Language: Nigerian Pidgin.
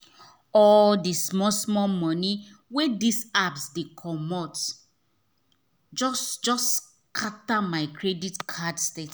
all the small small money wey this apps dey commot just just scatter my credit card statement.